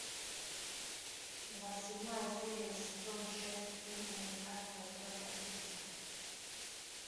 двадцать седьмая серия сезон шесть фильм американская история ужасов